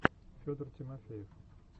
федор тимофеев